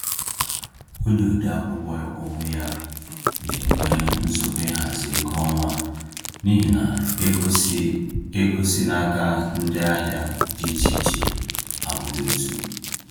Onye ode akwụkwọ onwe ya na-enwe nsogbu ịhazi ego ọnwa n’ihi na ego si ego si n’aka ndị ahịa dị iche iche abụghị otu.